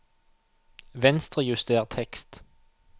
Venstrejuster tekst